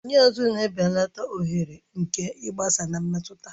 Enyo azụ na-ebelata oghere nke ịgbasa na mmetụta